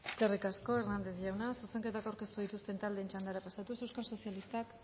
eskerrik asko hernández jauna zuzenketak aurkeztu dituzten taldeen txandara pasatuz euskal sozialistak